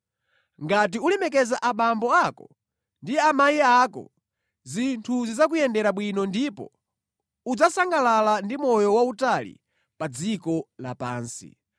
Ngati ulemekeza abambo ako ndi amayi ako, “zinthu zidzakuyendera bwino ndipo udzasangalala ndi moyo wautali pa dziko lapansi.”